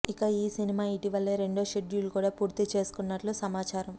ఇక ఈ సినిమా ఇటీవలె రెండో షెడ్యూల్ కూడా పూర్తి చేసుకున్నట్లు సమాచారం